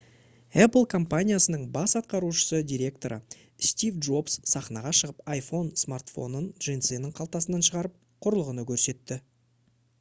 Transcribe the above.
apple компаниясының бас атқарушы директоры стив джобс сахнаға шығып iphone смартфонын джинсының қалтасынан шығарып құрылғыны көрсетті